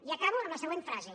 i acabo amb la següent frase